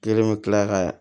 Kelen bɛ tila ka